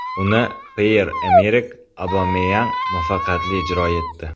Uni Pyer-Emerik Obameyang muvaffaqiyatli ijro etdi.